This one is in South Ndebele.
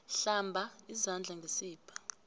hlamba izandla ngesibha